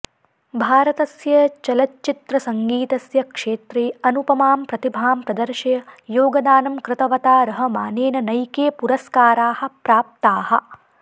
भारतस्य चलच्चित्रसङ्गीतस्य क्षेत्रे अनुपमां प्रतिभां प्रदर्श्य योगदानं कृतवता रहमानेन नैके पुरस्काराः प्राप्ताः